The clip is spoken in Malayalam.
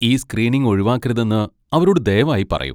ഈ സ്ക്രീനിംഗ് ഒഴിവാക്കരുതെന്ന് അവരോട് ദയവായി പറയൂ.